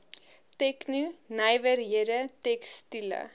tegno nywerhede tekstiele